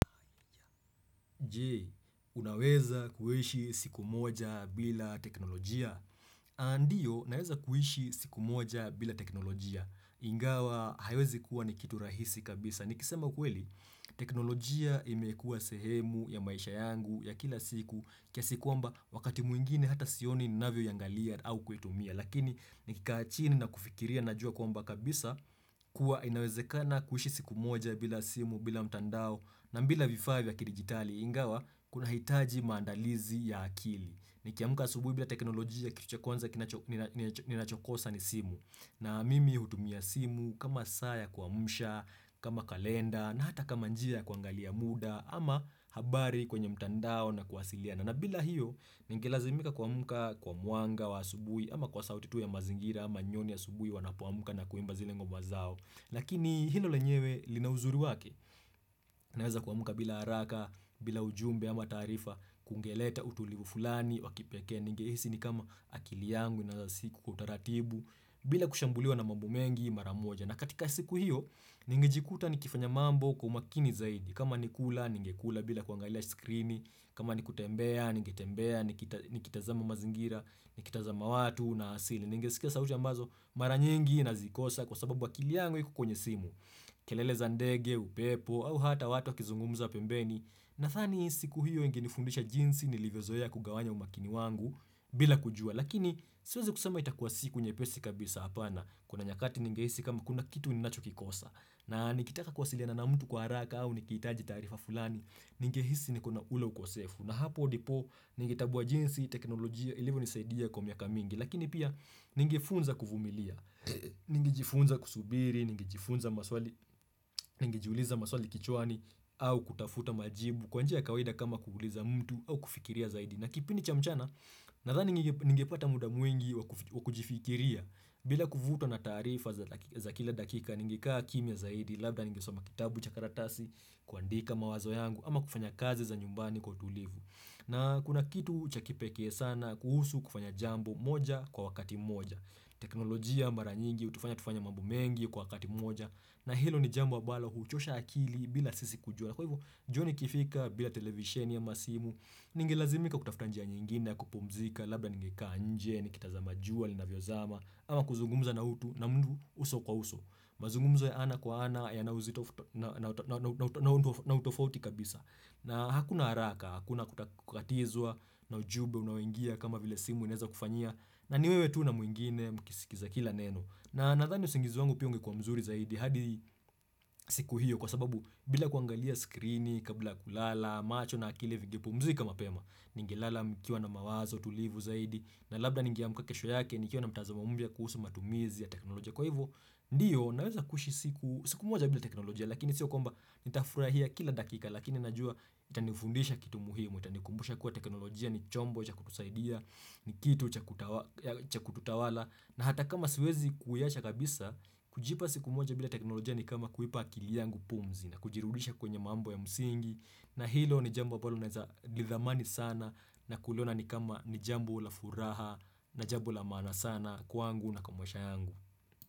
Je, unaweza kuishi siku moja bila teknolojia? Ndiyo, naweza kuishi siku moja bila teknolojia. Ingawa, haiwezi kuwa ni kitu rahisi kabisa. Nikisema ukweli, teknolojia imekua sehemu ya maisha yangu ya kila siku, kiasi kwamba wakati mwingine hata sioni ninavyo iangalia au kuitumia. Lakini, nikikaa chini na kufikiria najua kwamba kabisa, kuwa inawezekana kuishi siku moja bila simu, bila mtandao, na bila vifaa vya kidigitali ingawa, kuna hitaji maandalizi ya akili. Ni kiamka asubui bila teknolojia kitu cha kwanza kinacho ninachokosa ni simu. Na mimi hutumia simu kama saa yaku amsha, kama kalenda, na hata kama njia ya kuangalia muda, ama habari kwenye mtandao na kwasilia. Na mbila hiyo, ningelazimika ku amka, kwa mwanga, wa asubuhi, ama kwa sauti tu ya mazingira, ama nyoni asubuhi wanapoamka na kuimba zile ngoma zao. Lakini hilo lenyewe linauzuri wake, naweza kuamka bila haraka, bila ujumbe ama tarifa, kungeleta utulivu fulani, wakipeke, ningehisi ni kama akili yangu na siku kutaratibu, bila kushambuliwa na mambo mengi mara moja. Na katika siku hiyo, ningejikuta ni kifanya mambo kwa umakini zaidi. Kama nikula, ninge kula bila kuangaila skrini. Kama nikutembea, ninge tembea, nikitazama mazingira, nikitazama watu na asili. Ninge sikia sauti ambazo maranyengi na zikosa kwa sababu akili yangu iko kwenye simu. Kelele zandege, upepo au hata watu wakizungumuza pembeni nadhani siku hiyo ingenifundisha jinsi nilivyozoea kugawanya umakini wangu bila kujua, lakini siwezi kusema itakuwa siku nyepesi kabisa hapana. Kuna nyakati ningeisi kama kuna kitu ninacho kikosa na nikitaka kwasiliana na mtu kwa haraka au nikitaji taarifa fulani ningehisi niko na ula ukosefu na hapo ndipo ninge tambuwa jinsi teknolojia ilivyo nisaidia kwa miaka mingi lakini pia ningefunza kuvumilia. Ningejifunza kusubiri, ningejifunza maswali, ningejiuliza maswali kichwani au kutafuta majibu kwanjia ya kawaida kama kuuliza mtu au kufikiria zaidi na kipindi cha mchana, nadhani ningepata muda mwingi wakujifikiria bila kuvutwa na taarifa za kila dakika ningekaa kimia zaidi labda ningesoma kitabu chakaratasi kuandika mawazo yangu ama kufanya kazi za nyumbani kwa tulivu. Na kuna kitu chakipeke sana kuhusu kufanya jambo moja kwa wakati moja. Teknolojia mara nyingi, hutufanya tufanye mambo mengi kwa wakati moja na hilo ni jambo ambalo huchosha akili bila sisi kujua kwa hivyo, jioni ikifika bila televisheni ama simu. Ningelazimika kutafuta njia nyingine, ya kupumzika, labda ningekaa nje ni kitazama jua linavyo zama. Ama kuzungumza na utu na mtu uso kwa uso. Mazungumzo ya ana kwa ana ya na utofauti kabisa. Na hakuna haraka, hakuna kukatizwa na ujumbe unaoingia kama vile simu inaweza kufanyia na ni wewe tu na mwingine mkisikiza kila neno na nadhani usingizi wangu pia ungekuwa mzuri zaidi hadi siku hiyo kwa sababu bila kuangalia skrini kabla ya kulala macho na akili vingepu mzika mapema. Ningelala nikiwa na mawazo tulivu zaidi na labda ningeamka kesho yake nikiwa na mtazo mpya kuhusu matumizi ya teknoloja kwa hivyo ndiyo naweza kuishi siku siku moja bila teknoloja, lakini siyo kwamba nitafurahia kila dakika, lakini najua itanifundisha kitu muhimu. Itanikumbusha kuwa teknolojia ni chombo cha kutusaidia ni kitu cha cha kututawala na hata kama siwezi kuiacha kabisa. Kujipa siku moja bila teknolojia ni kama kuipa akili yangu pumzi na kujirudisha kwenye mambo ya msingi na hilo ni jambo ambalo ninaweza nidhamani sana nakuliona ni kama ni jambo la furaha. Na jambo la maana sana kwangu na kwa maisha yangu.